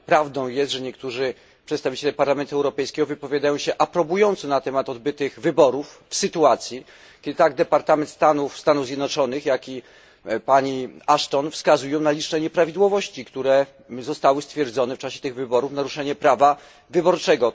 Czy prawdą jest, że niektórzy przedstawiciele Parlamentu Europejskiego wypowiadają się aprobująco na temat odbytych wyborów w sytuacji, kiedy tak Departament Stanu Stanów Zjednoczonych, jak i pani Ashton wskazują na liczne nieprawidłowości stwierdzone w czasie tych wyborów i naruszenie prawa wyborczego?